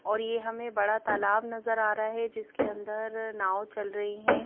और ये हमें बड़ा तालाब नजर आ रहा है जिसके अंदर नाव चल रही हैं।